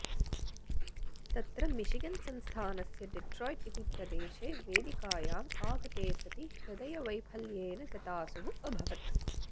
तत्र मिशिगन् संस्थानस्य डेट्रायिट् इति प्रदेशे वेदिकायाम् आगते सति हृदयवैफल्येन गतासुः अभवत्